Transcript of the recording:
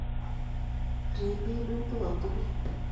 Riib minutik kotugul.